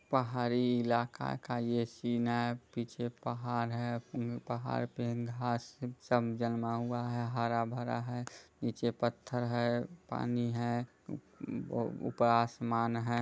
पहाड़ी इलाका का ये सीन है पीछे पहाड़ हैं पहाड़ पे घास सब जमा हुआ है हरा-भरा है निचे पत्थर है पानी है ऊ-ऊ उपर आसमान है।